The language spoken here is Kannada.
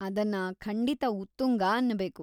ಅದನ್ನ ಖಂಡಿತ ಉತ್ತುಂಗ ಅನ್ನಬೇಕು.